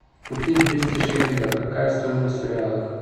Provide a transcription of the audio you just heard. купить двести шиллингов какая стоимость в реалах